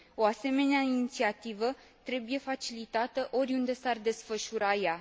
O asemenea inițiativă trebuie facilitată, oriunde s ar desfășura ea.